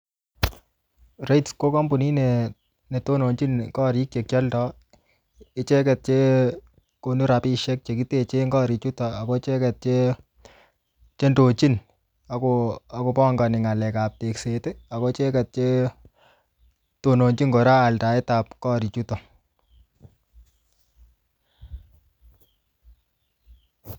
REITs ko kampunit ne ne tononchin korik che kialdoi. Icheket che konu rabisiek che kiteche eng korik chutok, ako icheket che-che indochin ako pangani ng'alek ap tegset. Ako icheket che tononchin kora aldaet ap korik chuton